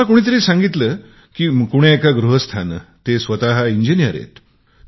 मला कोणीतरी सांगितले की कोण्या एका गृहस्थाने आहेत ते स्वतः इंजिनियर आहेत